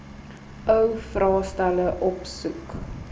ou vraestelle opsoek